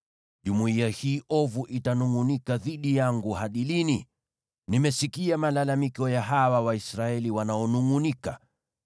“Jumuiya hii ovu itanungʼunika dhidi yangu hadi lini? Nimesikia malalamiko ya hawa Waisraeli wanaonungʼunika.